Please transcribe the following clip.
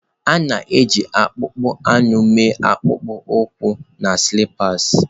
A na-eji akpụkpọ anụ mee akpụkpọ ụkwụ na sịlipas.